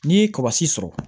N'i ye sɔrɔ